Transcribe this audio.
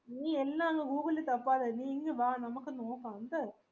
നീ എന്ന ഗൂഗ്ളിലിൽ താപ്പത്തെ നീ ഇങ് വാ നമാക് നോക്കാം ട്ട്